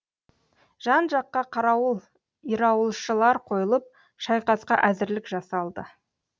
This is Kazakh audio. жан жаққа қарауыл ирауылшылар қойылып шайқасқа әзірлік жасалды